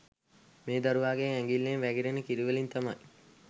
මේ දරුවාගේ ඇඟිල්ලෙන් වැගිරෙන කිරිවලින් තමයි